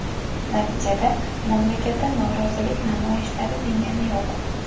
Natijada, mamlakatda norozilik namoyishlari tingani yo‘q.